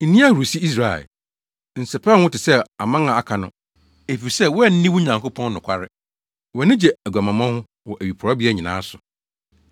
Nni ahurusi, Israel; nsɛpɛw wo ho te sɛ aman a aka no. Efisɛ woanni wo Nyankopɔn nokware, wʼani gye aguamammɔ ho wɔ awiporowbea nyinaa so.